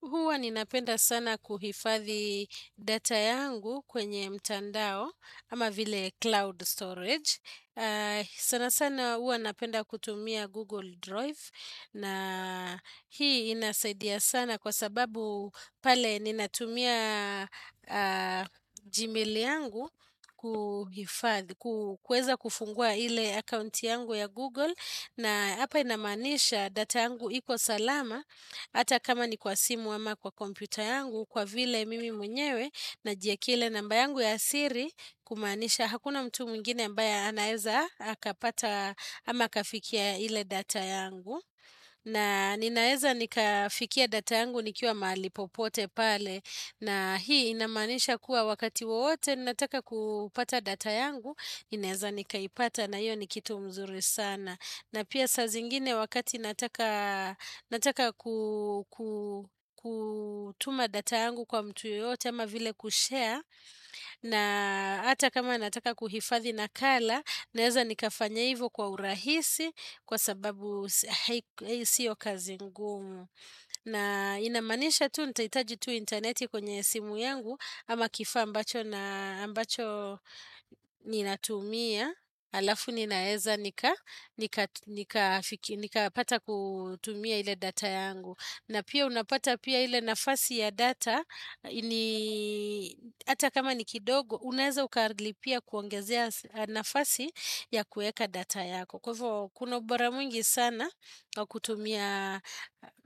Huwa ninapenda sana kuhifadhi data yangu kwenye mtandao kama vile cloud storage. Sana sana huwa napenda kutumia Google Drive. Na hii inasaidia sana kwa sababu pale ninatumia Gmail yangu kuhifadhi, kueza kufungua ile account yangu ya Google. Na hapa inamaanisha data yangu iko salama ata kama ni kwa simu ama kwa kompyta yangu kwa vile mimi mwenyewe najua kile namba yangu ya siri kumanisha hakuna mtu mingine mbaya anaeza haka pata ama kafikia ile data yangu na ninaeza nika fikia data yangu nikiwa malipopote pale na hii inamanisha kuwa wakati waote ninataka kupata data yangu inaeza nikaipata na hiyo ni kitu mzuri sana na pia sa zingine wakati nataka kutuma data yangu kwa mtu yote ama vile kushare. Na ata kama nataka kuhifadhi nakala naeza nikafanya ivo kwa urahisi kwa sababu siyo kazi ngumu. Na inamanisha tu nitaitaji tu interneti kwenye simu yangu ama kifa ambacho na ambacho ninatumia. Alafu ninaeza nika pata kutumia ile data yangu na pia unapata pia ile nafasi ya data Hata kama ni kidogo Unaeza ukalipia kuongezea nafasi ya kueka data yako Kwa hivo kuna ubora mwngi sana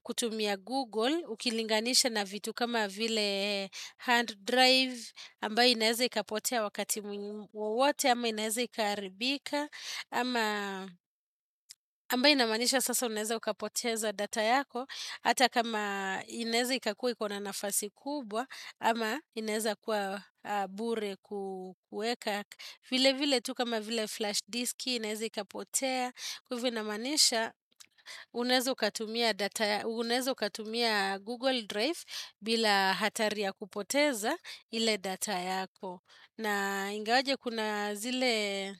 kutumia Google Ukilinganisha na vitu kama vile hand drive ambayo inaeza ikapotea wakati wowote ama ineaza ikaharibika ama ambayo inamanisha sasa unaeza ukapoteza data yako Hata kama inaeza ikakua kuna nafasi kubwa ama inaeza kuwa bure kukueka vile vile tu kama vile flash disk InAeza ikapotea Kufu inamanisha Unaeza ukatumia Google Drive bila hatari ya kupoteza ile data yako na ingawaje kuna zile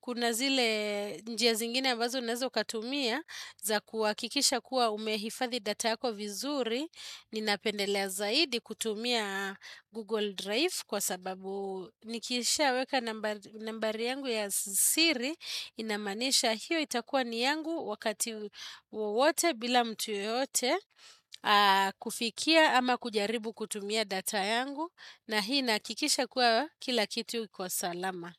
kuna zile njia zingine bazo unazo katumia za kuwa kikisha kuwa umehifathi data yako vizuri ninapendelea zaidi kutumia google drive kwa sababu nikisha weka nambari yangu ya siri inamanisha hiyo itakuwa ni yangu wakati wowote bila mtu yoyote kufikia ama kujaribu kutumia data yangu na hii nakikisha kuwa kila kitu kwa salama.